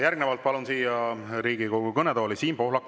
Järgnevalt palun siia Riigikogu kõnetooli Siim Pohlaku.